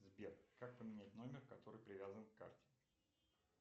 сбер как поменять номер который привязан к карте